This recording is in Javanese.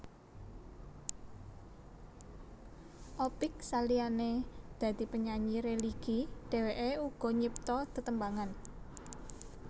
Opick saliyané dadi penyanyi religi dheweké uga nyipta tetembangan